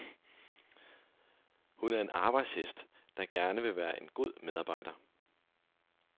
Hun er en arbejdshest, der gerne vil være en god medarbejder.